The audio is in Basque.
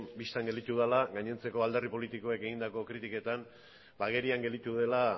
bistan gelditu dela gainontzeko alderdi politikoek egindako kritiketan agerian gelditu dela